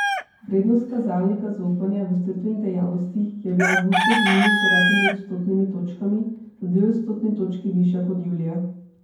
Vrednost kazalnika zaupanja v storitvenih dejavnostih je bila avgusta z minus devetimi odstotnimi točkami za dve odstotni točki višja kot julija.